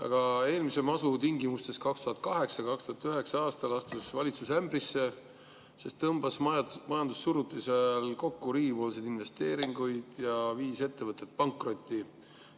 Aga eelmise masu tingimustes 2008.–2009. aastal astus valitsus ämbrisse, sest tõmbas majandussurutise ajal riigi investeeringuid kokku ja viis ettevõtted pankrotti.